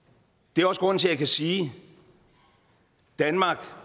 det er også grunden til at jeg kan sige at danmark